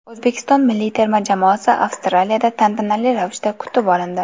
O‘zbekiston milliy terma jamoasi Avstraliyada tantanali ravishda kutib olindi .